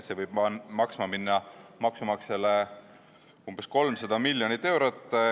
See võib maksumaksjale 12 aasta jooksul maksma minna umbes 300 miljonit eurot.